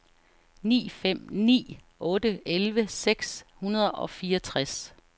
ni fem ni otte elleve seks hundrede og fireogtres